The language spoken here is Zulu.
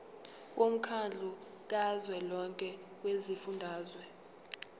womkhandlu kazwelonke wezifundazwe